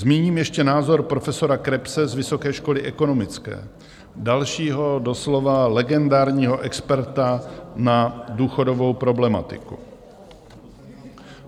Zmíním ještě názor profesora Krebse z Vysoké školy ekonomické, dalšího doslova legendárního experta na důchodovou problematiku.